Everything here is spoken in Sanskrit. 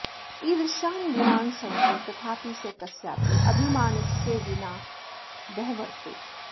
ईदृशान् गुणान् सन्ति तथापि सः कस्यापि अभिमानस्य विना व्यवहरते